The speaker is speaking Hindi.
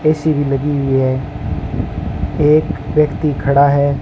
ऐ_सी भी लगी हुई है एक व्यक्ति खड़ा है।